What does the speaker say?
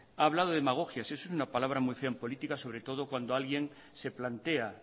ha hablado de demagogias y es una palabra muy fea en política sobre todo cuando alguien se plantea